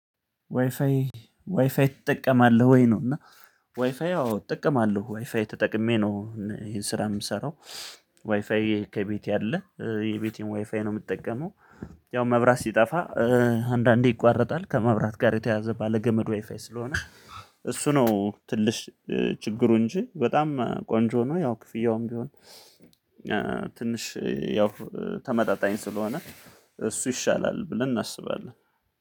ዋይፋይ ዋይፋይ ትጠቀማለህ ወይ ነው እና ዋይፋይ አዎ እጠቀማለህ ዋይፋይ ተጠቅሜ ነው ይሄን ስራ የምሰራው ዋይፋይ ከቤቴ አለ የቤቴን ዋይፋይ ነው የምጠቀመው ያው መብራት ሲጠፋ አንዳንዴ ይቋረጣል። ከመብራት ጋር የተያዘ ባለገመድ ዋይፋይ ስለሆነ እሱ ነው ትንሽ ችግሩ እንጂ በጣም ቆንጆ ነው። ያው ክፍያውም ቢሆን ትንሽ ያው ተመጣጣኝ ስለሆነ እሱ ይሻላል ብለን እናስባለን።